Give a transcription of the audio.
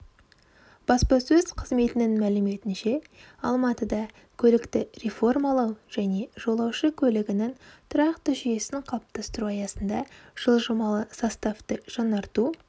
баспасөз қызметінің мәліметінше алматыда көлікті реформалау және жолаушы көлігінің тұрақты жүйесін қалыптастыру аясында жылжымалы составты жаңарту